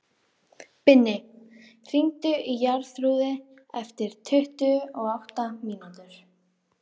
Binni, hringdu í Jarþrúði eftir tuttugu og átta mínútur.